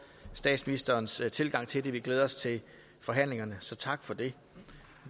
statsministerens tilgang til det vi glæder os til forhandlingerne så tak for det